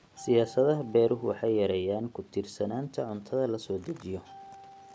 Siyaasadaha beeruhu waxay yareeyaan ku tiirsanaanta cuntada la soo dejiyo.